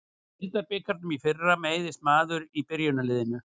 Í deildabikarnum í fyrra meiðist maður í byrjunarliðinu.